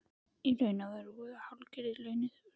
Í raun vorum við hálfgerðir leyniþjónustu